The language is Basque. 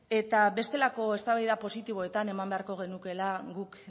eta bestelako eztabaida positiboetan eman beharko genukeela guk